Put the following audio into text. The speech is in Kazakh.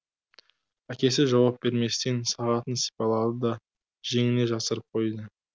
әкесі жауап берместен сағатын сипалады да жеңіне жасырып қойды